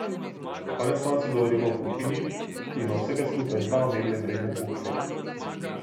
Konec koncev govorimo o kuhinji, ki ima vsega skupaj dva omembe vredna kuharja.